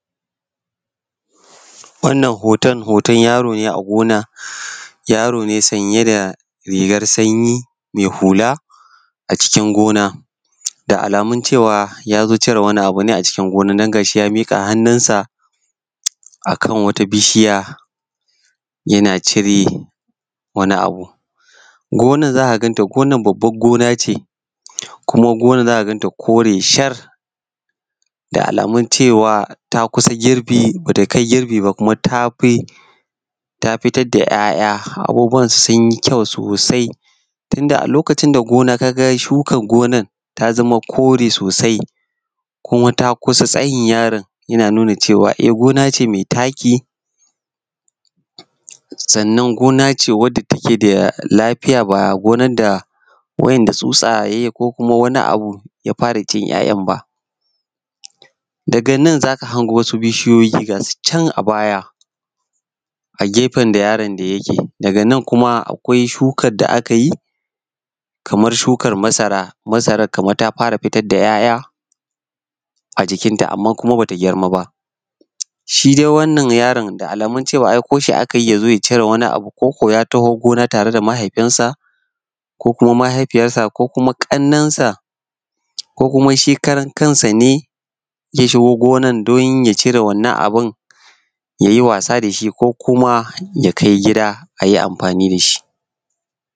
Wannan hoton, hoton yaro ne a gona yaro ne sanye da rigar sanyi mai hula a gona. Da alamun cewa ya zo cire wani abu ne a cikin gona domin ga shi ya miƙa hannunsa kan wata bishiya yana cire wani abu. Gonar za ka ganta gonar babban gona ce kuma gonar za ka ganta kore shar da alamun cewa ta kusa girbi, ba ta kai girbi ba, kuma ta fitar da 'ya'ya abubuwanta su yi kyau sosai. Tunda a lokacin da gona shukar ginar ta zama kore sosai kuma ta kusa tamsayin yaron yana nuna cewa gona ce mai taki. Sannan gina ce wanda take da lafiya ba gina ce da tsatsa ya fara ko wani abu ya fara cin 'ya'yan ba. Daga nan za ka hango wasu bishiyoyi ga su nan a baya a gefen da yaro da yake. Daga nan kuma akwai shukar da aka yi kamar shukar masara. Shukar masara ta fara fitar da 'ya'ya a jikinta amma kuma ta ba gurma ba. Shi dau wannan yaron da alamaun aiko shinaka yi ya zo ya cire abu a gona ko kuma ya taho gona tare da mahaifinsa ko mahaifiyarsa ko ƙannansa ko kima shi karan kansa ne ya shigo gonar don ya cire wannan abu ya yinwasa da shi ko ya kai gida q yi amfani da shi.